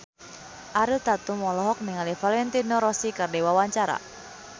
Ariel Tatum olohok ningali Valentino Rossi keur diwawancara